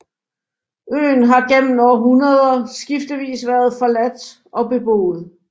Øen har gennem århundreder skiftevis været forladt og beboet